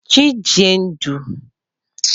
Chinedu àti Ifeoma nífẹ̀ẹ́ àṣà igbó.